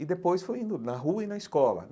E depois fui indo na rua e na escola.